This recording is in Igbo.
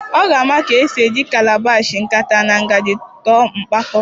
Ọ ga-amụta ka esi eji calabash, nkata na ngaji tụọ mpịakọta